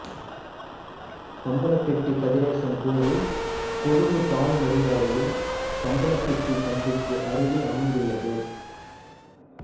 பம்பலப்பிட்டி கதிரேசன் கோவில் கொழும்பு காலி நெடுஞ்சாலையில் பம்பலப்பிட்டி சந்திக்கு அருகில் அமைந்துள்ளது